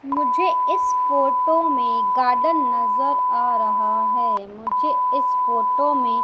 मुझे इस फोटो में गार्डन नजर आ रहा है मुझे इस फोटो में--